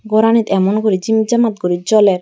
goranit emon guri jimit jamat guri joler.